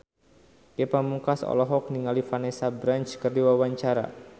Ge Pamungkas olohok ningali Vanessa Branch keur diwawancara